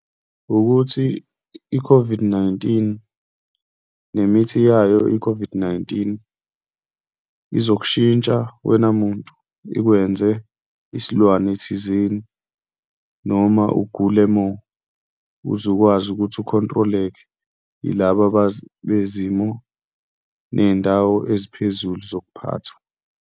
Wukuthi i-COVID-19 nemithi yayo i-COVID-19 izokushintsha wena muntu, ikwenze isilwane thizeni noma ugule more uzukwazi ukuthi u-control-eke yilaba bezimo ney'ndawo eziphezulu zokuphatha.